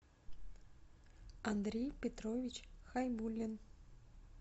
андрей петрович хайбуллин